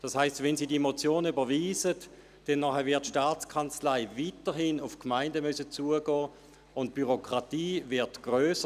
Das heisst, wenn Sie diese Motion überwiesen, würde die STA weiterhin auf die Gemeinden zugehen müssen, und die Bürokratie würde grösser.